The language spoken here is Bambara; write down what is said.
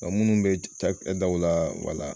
Munnu be ca kɛ daw la wala